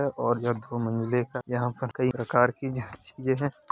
है और ये दो मंजले का | यहाँ पर कई प्रकार की जाँच हैं |